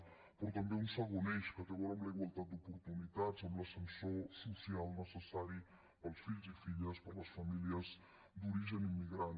però també un segon eix que té a veure amb la igualtat d’oportunitats amb l’ascensor social necessari per als fills i filles per a les famílies d’origen immigrant